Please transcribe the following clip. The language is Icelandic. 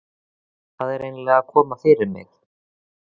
Hvað er eiginlega að koma fyrir mig?